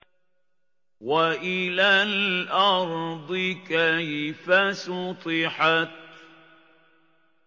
وَإِلَى الْأَرْضِ كَيْفَ سُطِحَتْ